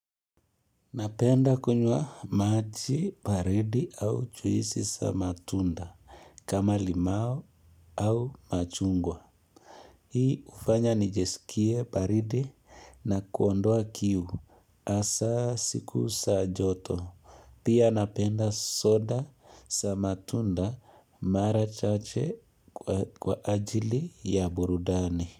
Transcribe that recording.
Napenda kunywa maji baridi au juisi za matunda kama limau ama machungwa. Hii hufanya nijisikie baridi na kuondoa kiu hasa siku za joto. Pia napenda soda za matunda mara chache kwa ajili ya burudani.